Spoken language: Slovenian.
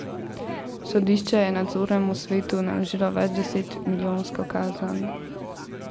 Sodišče je nadzornemu svetu naložilo več deset milijonsko kazen.